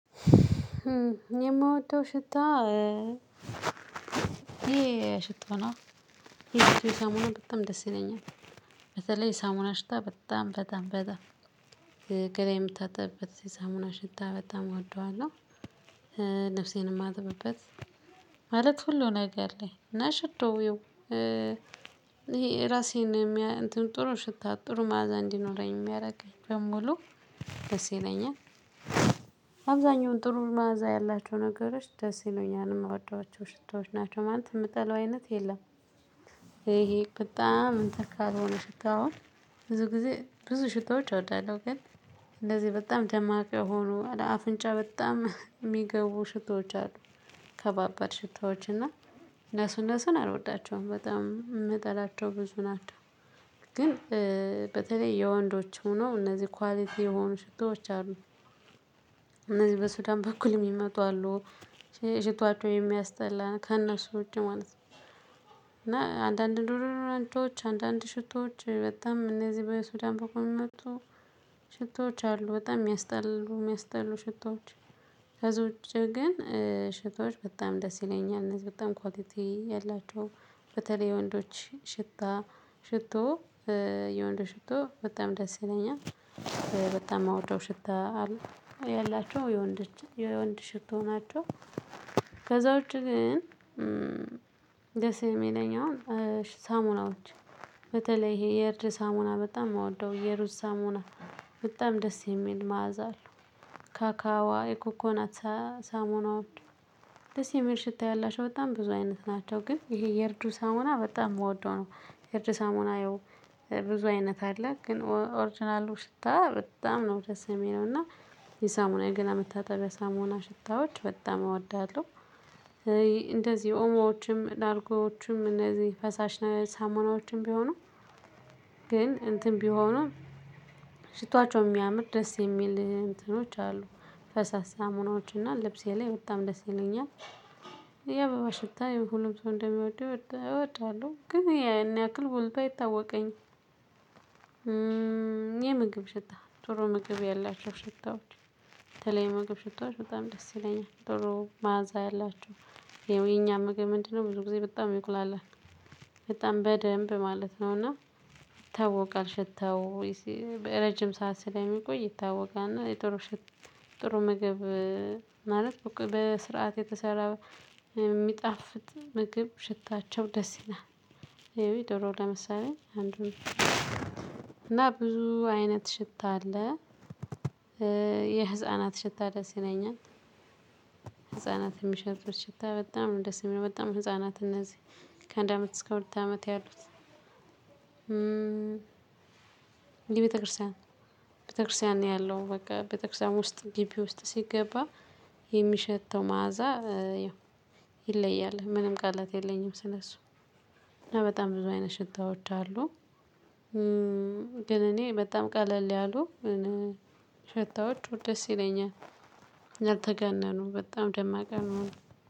የምወደው ሽታ ይሄ ሽቶ ነው የሽታ ሳሙና በጣም ደስ ይለኛል። በተለይ ሳሙና ሽታ በጣም በጣም በጣም ገላ የምታጠብበት ሳሙና ሽታ በጣም እወደዋለሁ። ልብሴንም እማጥብበት ማለት ሁሉ ነገር ላይ ሽቶ የው ራሴን ጥሩ ሽታ ጥሩ ማዕዛ እንዲኖረኝ የሚያረገኝ በሙሉ ደስ ይለኛል። አብዛኛውን ጥሩ ማዕዛ ያላቸው ነገሮች ደስ ይሉኛል የምወዷቸው ሽታዎች ናቸው ማለት የምትጠላው አይነት የለም። ይሄ በጣም እንትን ካልሆነ ሽታው አሁን ብዙ ጊዜ ብዙ ሽታዎች እወዳለሁ። ግን እንደዚህ በጣም ደማቅ የሆኖ አፍንጫ በጣም የሚገቡ ሽታዎች አሉ። ከባባድ ሽታዎች እና እነሱ እነሱን አልወዳቸውም በጣም እምጠላቸው ብዙ ናቸው። ግን በተለይ የወንዶች ሆኖ እነዚህ ኳሊቲ የሆኑ ሽቶዎች አሉ። እነዚህ በሱዳን በኩል የሚመጣው ሽቷቸው የሚያስጠላ ከእነሱ ውጪ ማለት ነው። እና አንዳንድ ዶዶራንቶችን አንዳንድ ሽቶዎች በጣም እነዚህ በሱዳን በኩል የሚመጡ ሽቶዎች አሉ በጣም የሚያስጠሉ የሚያስጠሉ ሽቶዎች። ከዚህ ውጪ ግን ሽቶዎች በጣም ደስ ይለኛል። እነዚህ በጣም ኳሊቲ ያላቸው በተለይ የወንዶች ሽታ ሽቶ የወንዶች ሽቶ በጣም ደስ ይለኛል። በጣም እምወደው ሽታ አለ ያላቸው የወንዶች የወንድ ሽቶ ናቸው። ከዛውጭ ግን ደስ የሚለኝ አሁን ሳሙናዎች በተለይ ይሄ የርድ ሳሙና በጣም የምወደው የሩዝ ሳሙና በጣም ደስ የሚል መዓዛ አለው። ካካዋ የኮኮናታ ሳሙናዎች ደስ የሚል ሽታ ያላቸው በጣም ብዙ አይነት ናቸው ግን ይሄ የእርዱ ሳሙና በጣም የምወደው ነው። የእርድ ሳሙና ያው ብዙ አይነት አለ ግን ኦርጅናሉ ሽታ በጣም ነው ደስ እሚለው እና የሳሙና የገላ መታጠቢያ ሳሙና ሽታዎች በጣም እወዳለሁ። እንደዚህ ኦሞዎችም ላርጎዎችም እነዚህ ፈሳሽ ሳሙናዎችም ቢሆኑ ግን እንትን ቢሆኑም ሽቶአቸው የሚያምር ደስ የሚል እንትኖች አሉ ፈሳሽ ሳሙናዎች እና ልብሴ ላይ በጣም ደስ ይሉኛል። የአበባ ሽታ የሁሉም ሰው እንደሚወድው እወድዋለሁ ግን ያን ያክል ጎልቶ አይታወቀኝም። የምግብ ሽታ ጥሩ ምግብ ያላቸው ሽታዎች የተለያዩ የምግብ ሽታዎች በጣም ደስ ይለኛል ደሮ መዓዛ ያላችሁ ይኸው የኛ ምግብ ምንድነው? ብዙ ጊዜ በጣም ይቁላላል በጣም በደንብ ማለት ነውና ይታወቃል ሽታው። በረጅም ሰዓት ስለሚቆይ ይታወቃል እና የጥሩ ሽት ጥሩ ምግብ ማለት በስርዓት የተሰራ የሚጣፍጥ ምግብ ሽታቸው ደስ ይላል። ይኸው የዶሮ ለምሳሌ አንዱ ነው እና ብዙ አይነት ሽታ አለ። የህፃናት ሽታ ደስ ይለኛል። ህፃናት የሚሸቱት ሽታ በጣም ደስ የሚለው በጣም ህፃናት እነዚህ ከአንድ አመት እስከ ሁለት አመት ያሉት የቤተክርስቲያን ቤተክርስቲያን ነው ያለው በቃ ቤተክርስቲያን ውስጥ ግቢ ውስጥ ሲገባ የሚሸተው መዓዛ። ይለያል ምንም ቃላት የለኝም ስለሱ። እና በጣም ብዙ አይነት ሽታዎች አሉ። ግን እኔ በጣም ቀለል ያሉ ሸታዎች ደስ ይለኛል። ያልተጋነኑ በጣም ደማቅ ያልሆኑ